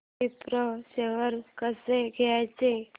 Wipro shares कसे घ्यायचे